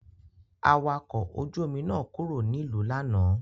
Awakọ̀ ojú-omi náà kúrò nílùú lánàá.